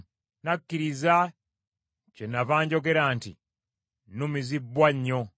Nakkiriza kyennava njogera nti, “Numizibbwa nnyo.”